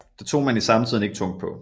Det tog man i samtiden ikke tungt på